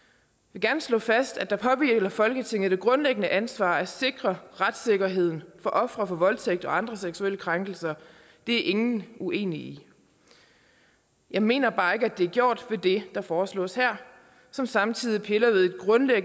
vil gerne slå fast at der påhviler folketinget det grundlæggende ansvar at sikre retssikkerheden for ofre for voldtægt og andre seksuelle krænkelser det er ingen uenige i jeg mener bare ikke at det er gjort ved det der foreslås her som samtidig piller